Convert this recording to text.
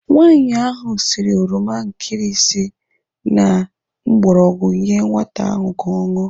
Nwaanyi ahụ siri oroma nkirisi na mgbọrọgwụ nyee nwata ahụ ka ọ ṅụọ.